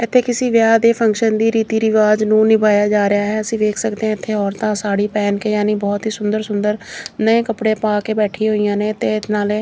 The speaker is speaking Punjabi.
ਇੱਥੇ ਕਿਸੇ ਵਿਆਹ ਦੇ ਫੰਕਸ਼ਨ ਦੀ ਰੀਤੀ ਰਿਵਾਜ ਨੂੰ ਨਿਭਾਇਆ ਜਾ ਰਿਹਾ ਹੈ ਅਸੀਂ ਵੇਖ ਸਕਦੇ ਆ ਇੱਥੇ ਔਰਤਾਂ ਸਾੜੀ ਪੈਣ ਕੇ ਯਾਨੀ ਬਹੋਤ ਸੁੰਦਰ ਸੁੰਦਰ ਨਵੇਂ ਕੱਪੜੇ ਪਾ ਕੇ ਬੈਠੀ ਹੋਈਆਂ ਨੇ ਤੇ ਨਾਲੇ --